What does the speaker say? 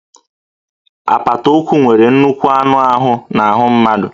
Apata ụkwụ nwere nnukwu anụ ahụ n'ahụ mmadụ